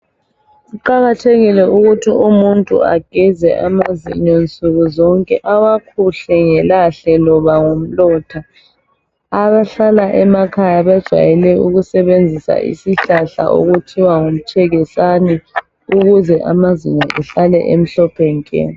Kuqakathekile ukuthi umuntu ageze amazinyo nsukuzonke awakhuhle ngelahle loba ngomlotha. Abahlala emakhaya bajayele ukusebenzisa isihlahla okuthiwa ngumtshekisane ukuze amazinyo ehlale emhlophe nke.